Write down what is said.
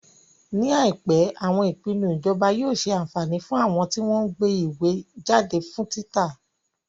Ní àìpé, àwọn ìpinnu ìjọba yóò ṣe àǹfání fún àwọn tí wọ́n ń gbé ìwé jáde fún títa.